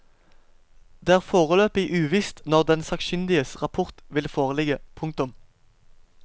Det er foreløpig uvisst når den sakkyndiges rapport vil foreligge. punktum